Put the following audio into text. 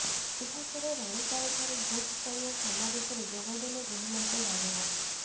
ଏହାପରେ ରାଣୀତାଲଠାରେ ବୁଥ୍ ସ୍ତରୀୟ ସମାବେଶରେ ଯୋଗଦେଲେ ଗୃହମନ୍ତ୍ରୀ ରାଜନାଥ